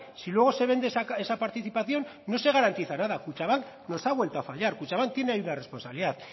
si luego se vende esa participación no se garantiza nada kutxabank nos ha vuelto a fallar kutxabank tiene hay una responsabilidad